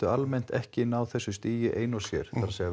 almennt ekki ná þessu stigi ein og sér það er